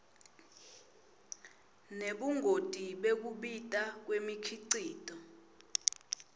nebungoti bekubita kwemikhicito